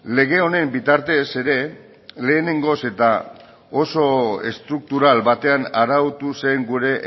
lege honen bitartez ere lehenengoz eta oso estruktural batean arautu zen gure